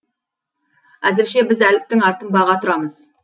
әзірше біз әліптің артын баға тұрамыз